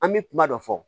An bɛ kuma dɔ fɔ